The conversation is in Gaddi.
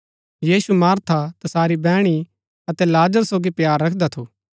यीशु Martha तसारी बैहणी अतै लाजर सोगी प्‍यार रखदा थू